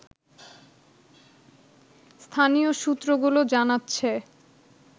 স্থানীয় সূত্রগুলো জানাচ্ছে